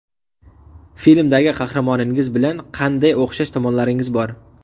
Filmdagi qahramoningiz bilan qanday o‘xshash tomonlaringiz bor?